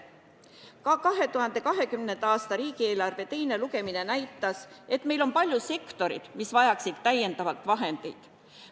Ka 2020. aasta riigieelarve teine lugemine näitas, et meil on palju sektoreid, mis vajaksid lisavahendeid.